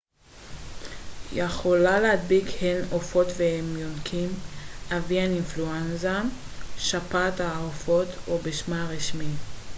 שפעת העופות או בשמה הרשמי avian influenza יכולה להדביק הן עופות והן יונקים